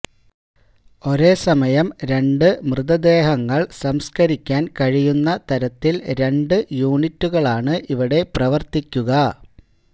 ഒരേ സമയം രണ്ട് മൃതദേഹങ്ങള് സംസ്ക്കരിക്കാന് കഴിയുന്ന തരത്തില് രണ്ട് യൂണിറ്റുകളാണ് ഇവിടെ പ്രവര്ത്തിക്കുക